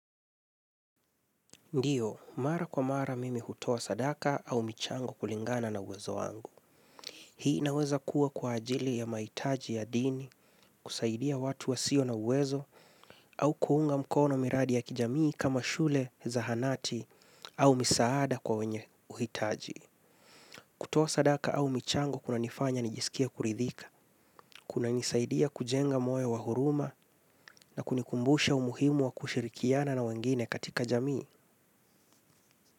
Ndiyo, mara kwa mara mimi hutoa sadaka au michango kulingana na uwezo wangu. Hii inaweza kuwa kwa ajili ya maitaji ya dini, kusaidia watu wa sio na uwezo, au kuunga mkono miradi ya kijamii kama shule, zahanati, au misaada kwa wenye uhitaji. Kutoa sadaka au michango kuna nifanya nijisikie kuridhika, kuna nisaidia kujenga moyo wa huruma na kunikumbusha umuhimu wa kushirikiana na wengine katika jamii.